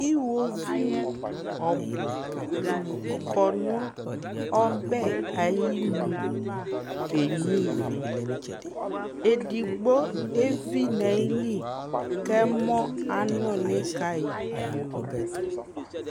iwoviu ɔbo kɔ no ɔbɛ ayinu kenyua ivi edigbo evi no ayili ko ɛmɔ anoli ka yi pio